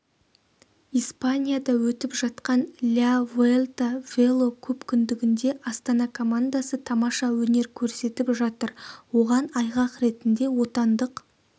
испанияда өтіп жатқан ля вуэльта велокөпкүндігінде астана командасы тамаша өнер көрсетіп жатыр оған айғақ ретінде отандық